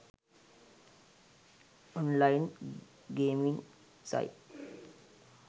online gaming site